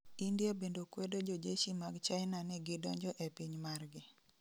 India bende kwedo jojeshi mag china ni gidonjo e piny margi